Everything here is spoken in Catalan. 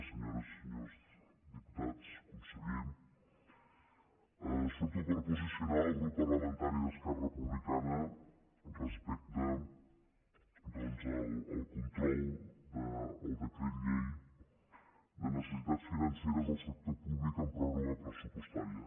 senyores i senyors diputats conseller surto per posicionar el grup parlamentari d’esquerra republicana respecte doncs al control del decret llei de necessitats financeres del sector públic en pròrroga pressupostària